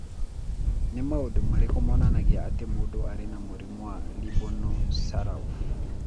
Nĩ maũndũ marĩkũ monanagia atĩ mũndũ arĩ na mũrimũ wa Robinow Sorauf?